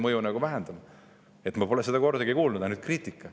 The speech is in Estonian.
Ma pole kordagi kuulnud, on ainult kriitika.